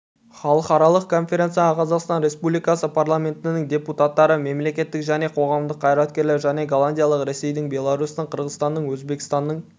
халықаралық конференцияға қазақстан республикасы парламентінің депутаттары мемлекеттік және қоғамдық қайраткерлер және голландияның ресейдің беларусьтің қырғызстанның өзбекстанның